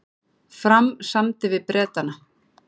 Fram samdi við Bretana